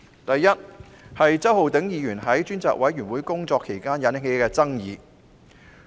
第一，周浩鼎議員在專責委員會工作期間引起爭議。